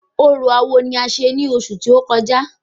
Orò awo ni a ṣe ní ọsù tó kọjá